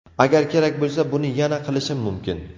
Agar kerak bo‘lsa, buni yana qilishim mumkin.